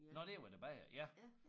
Nåh det har været en bager